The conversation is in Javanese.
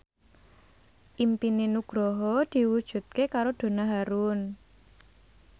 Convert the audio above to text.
impine Nugroho diwujudke karo Donna Harun